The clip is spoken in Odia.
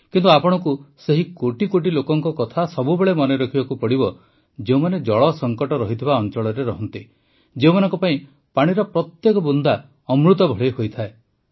କିନ୍ତୁ ଆପଣଙ୍କୁ ସେହି କୋଟି କୋଟି ଲୋକଙ୍କ କଥା ସବୁବେଳେ ମନେରଖିବାକୁ ହେବ ଯେଉଁମାନେ ଜଳ ସଙ୍କଟ ରହିଥିବା ଅଂଚଳରେ ରହନ୍ତି ଯେଉଁମାନଙ୍କ ପାଇଁ ପାଣିର ପ୍ରତ୍ୟେକ ବୁନ୍ଦା ଅମୃତ ଭଳି ହୋଇଥାଏ